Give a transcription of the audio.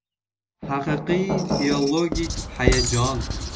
Haqiqiy filologik hayajon.